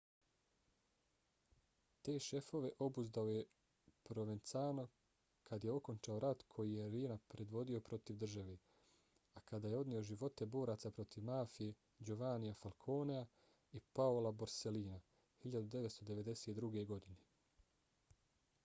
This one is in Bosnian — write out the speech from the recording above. te šefove obuzdao je provenzano kad je okončao rat koji je riina predvodio protiv države a koji je odneo živote boraca protiv mafije giovannija falconea i paola borsellina 1992. godine